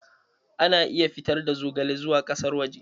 Ana iya fitar da zogale zuwa ƙasar waje.